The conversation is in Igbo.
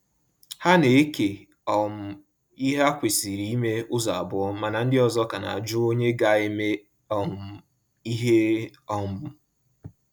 Ha na-eke um ihe ha kwesịrị ime ụzọ abụọ mana ndị ọzọ ka na ajụ onye ga-eme um ihe um